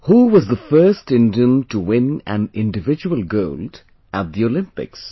Who was the first Indian to win an Individual Gold at the Olympics